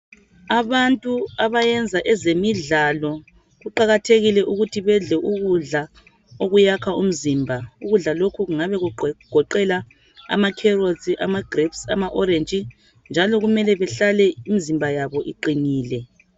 Abantu abayenza ezemidlalo kuqakathekile ukuthi bedle ukudla okuyakha umzimba ukudla lokhu kungabe kugoqela ama carrots ama grapes ama orange njalo kumele behlale imizimba yabo iqinile.